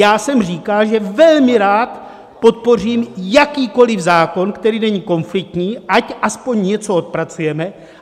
Já jsem říkal, že velmi rád podpořím jakýkoliv zákon, který není konfliktní, ať aspoň něco odpracujeme.